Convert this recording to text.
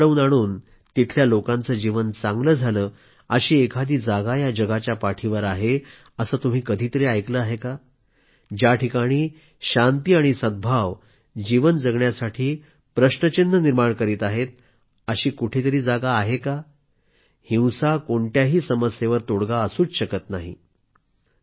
हिंसा घडवून आणून तिथल्या लोकांचे जीवन चांगले झाले अशी एखादी जागा या जगाच्या पाठीवर आहे असं तुम्ही कधी तरी ऐकलं आहे का ज्या ठिकाणी शांती आणि सद्भाव जीवन जगण्यासाठी प्रश्नचिन्ह निर्माण करीत आहेत अशी कुठंतरी जागा आहे का हिंसा कोणत्याही समस्येवर तोडगा असूच शकत नाही